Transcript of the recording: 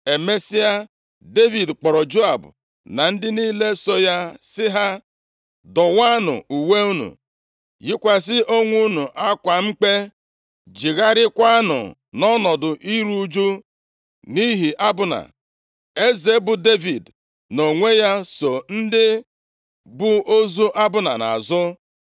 Emesịa, Devid kpọrọ Joab na ndị niile so ya sị ha, “Dọwaanụ uwe unu, yikwasị onwe unu akwa mkpe, jegharịakwanụ nʼọnọdụ iru ụjụ nʼihi Abna.” Eze, bụ Devid nʼonwe ya so ndị bu ozu Abna nʼazụ.